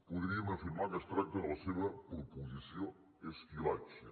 podríem afirmar que es tracta de la seva proposició esquilache